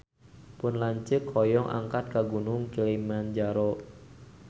Pun lanceuk hoyong angkat ka Gunung Kilimanjaro